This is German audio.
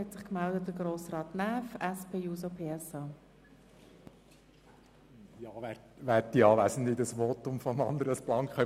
Das Votum von Grossrat Blank können wir nicht ganz so stehen lassen.